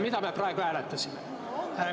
Mida me praegu hääletasime?